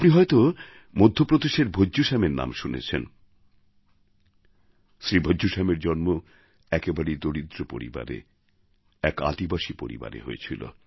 আপনি হয়তো মধ্যপ্রদেশের ভজ্জু শ্যামের নাম শুনেছেন শ্রী ভজ্জু শ্যামের জন্ম একেবারেই দরিদ্র পরিবারে এক আদিবাসী পরিবারে হয়েছিল